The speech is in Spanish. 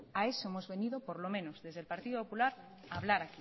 a eso hemos venido por lo menos desde el partido popular a hablar